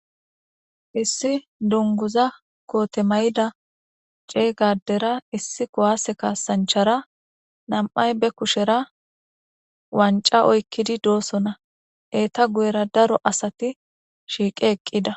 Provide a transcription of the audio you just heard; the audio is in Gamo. Issi duniguza kote ma'ida cega adera issi ku'ase kasanichara na'ay be kushera wanica oyikidi do'sona eta guyera daro asati shiqi eqida